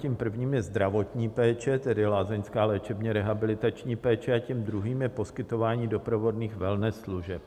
Tím prvním je zdravotní péče, tedy lázeňská léčebně-rehabilitační péče, a tím druhým je poskytování doprovodných wellness služeb.